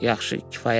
Yaxşı, kifayətdir.